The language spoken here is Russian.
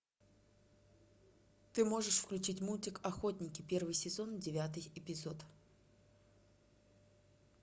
ты можешь включить мультик охотники первый сезон девятый эпизод